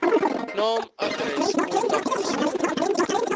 naam adres kontakbesonderhede